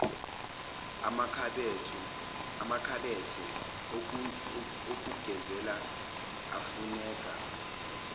amakhabethe okugezela afuneka